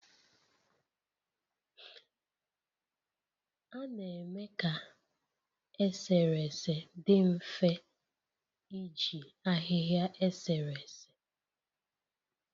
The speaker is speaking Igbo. A na-eme ka eserese dị mfe iji ahịhịa eserese